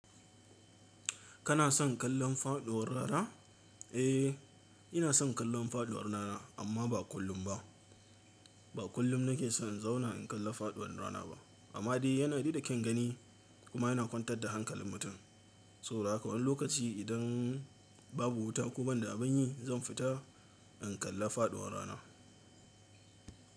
Kana son kallon faɗuwar rana? Ina son kallon faɗuwar rana, amma ba kullum ba. Ba kullum nake so in zauna in kalla faɗuwar rana ba, amma dai yana dai da kyan gani kuma yana kwantar da hankalin mutum. Saboda haka wani lokaci idan babu wuta ko ban da abin yi, zan fita in kalla faɗuwar rana.